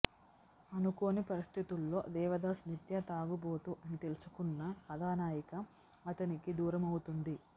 అనుకోని పరిస్థితుల్లో దేవదాసు నిత్య తాగుబోతు అని తెలుసుకున్న కథానాయిక అతనికి దూరం అవుతుంది